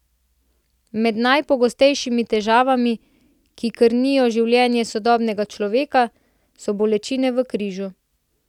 Med najpogostejšimi težavami, ki krnijo življenje sodobnega človeka, so bolečine v križu.